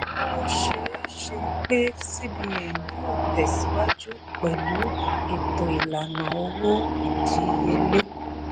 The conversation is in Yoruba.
ó ṣeéṣe pé cbn yóò tẹ̀síwájú pẹ̀lú ètò ìlànà owó ìdíyelé.